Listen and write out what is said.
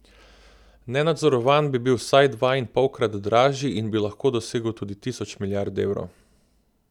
Nenadzorovan bi bil vsaj dvainpolkrat dražji in bi lahko dosegel tudi tisoč milijard evrov.